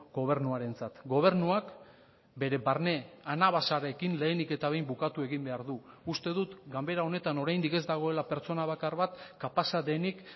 gobernuarentzat gobernuak bere barne anabasarekin lehenik eta behin bukatu egin behar du uste dut ganbera honetan oraindik ez dagoela pertsona bakar bat kapaza denik